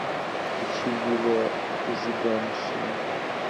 включи юлия зиганшина